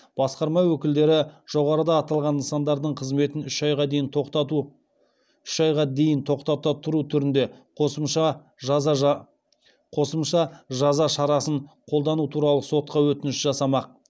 басқарма өкілдері жоғарыда аталған нысандардың қызметін үш айға дейін тоқтата тұру түрінде қосымша жаза шарасын қолдану туралы сотқа өтініш жасамақ